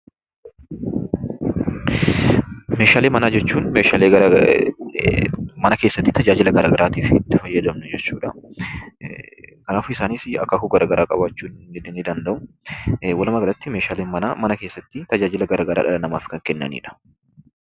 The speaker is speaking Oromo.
Meeshaalee manaa jechuun meeshaalee mana keessatti tajaajila garaa garaa tajaajilaaf mana keessatti itti fayyadaman yammuu ta'u; isaannis akaakuu garaa garaa kan qabanii dha. Meeshaaleen mana keessaa gosa garaa garaatu jira.